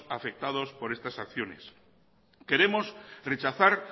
afectados por estas acciones queremos rechazar